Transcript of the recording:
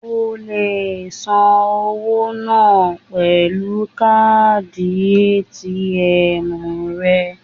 O le san owó náà pẹ̀lú káàdì ATM rẹ.